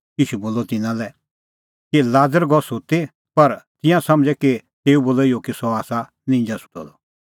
ईशू बोलअ त तिन्नां लै कि लाज़र गअ सुत्ती पर तिंयां समझ़ै कि तेऊ बोलअ इहअ कि सह आसा निंजा सुत्तअ द